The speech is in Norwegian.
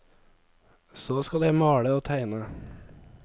Så skal jeg male og tegne.